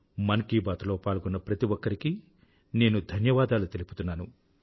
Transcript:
మన్ కీ బాత్ లో పాల్గొన్న ప్రతి ఒక్కరికీ నేను ధన్యవాదాలు తెలుపుతున్నాను